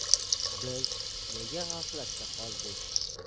Biz nega g‘aflatda qoldik?